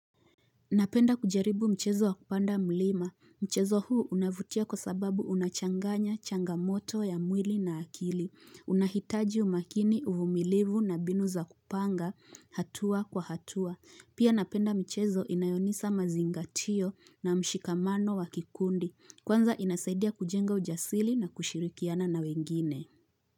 Napenda kujaribu mchezo wa kupanda mlima. Mchezo huu unavutia kwa sababu unachanganya changamoto ya mwili na akili. Unahitaji umakini uvumilivu na mbinu za kupanga hatua kwa hatua. Pia napenda mchezo inayonisa mazingatio na mshikamano wa kikundi. Kwanza inasaidia kujenga ujasili na kushirikiana na wengine.